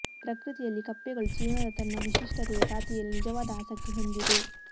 ಪ್ರಕೃತಿಯಲ್ಲಿ ಕಪ್ಪೆಗಳು ಜೀವನದ ತನ್ನ ವಿಶಿಷ್ಟತೆಯ ಖಾತೆಯಲ್ಲಿ ನಿಜವಾದ ಆಸಕ್ತಿ ಹೊಂದಿದೆ